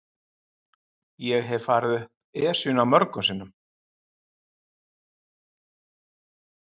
Ég hef farið upp Esjuna mörgum sinnum.